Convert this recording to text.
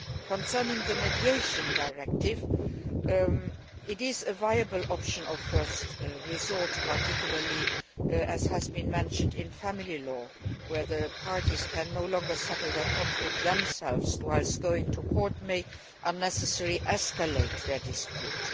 Concerning the Mediation Directive, it is a viable option of first resort', particularly as has been mentioned in family law cases where the parties cannot settle their conflict themselves and going to court may unnecessarily escalate their dispute.